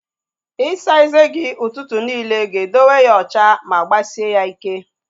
Isa eze gi ụtụtụ niile ga edowe ya ocha ma gbasie ya ịkẹ́